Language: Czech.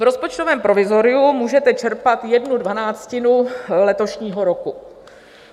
V rozpočtovém provizoriu můžete čerpat jednu dvanáctinu letošního roku.